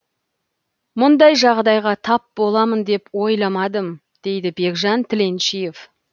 мұндай жағдайға тап боламын деп ойламадым дейді бекжан тіленшиев